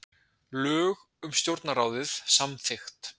Lög um stjórnarráðið samþykkt